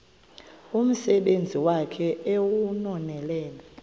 umsebenzi wakhe ewunonelele